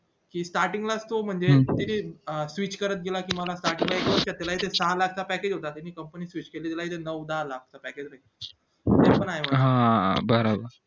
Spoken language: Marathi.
sarting च लाच तो म्हणजे किती switch करत गेला कि मला चांगले सहा लाख च package होता त्यांनी company केली त्याला इथे नऊ दहा लाख package चा भेटला